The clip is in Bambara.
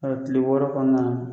A tile wɔɔrɔ kɔnɔna la